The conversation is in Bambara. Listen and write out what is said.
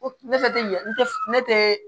Ne tɛ ɲɛ ne tɛ